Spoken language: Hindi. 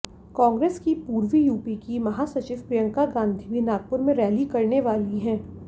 कांग्रेस की पूर्वी यूपी की महासचिव प्रियंका गांधी भी नागपुर में रैली करने वाली हैं